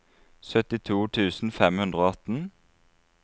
syttito tusen fem hundre og atten